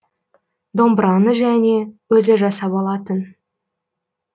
домбыраны және өзі жасап алатын